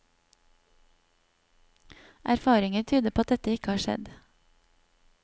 Erfaringer tyder på at dette ikke har skjedd.